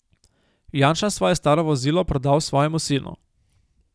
Janša svoje staro vozilo prodal svojemu sinu.